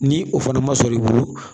Ni o fana ma sɔrɔ i bolo